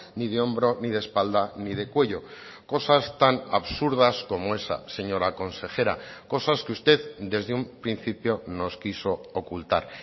ni de hombro ni de espalda ni de cuello cosas tan absurdas como esa señora consejera cosas que usted desde un principio nos quiso ocultar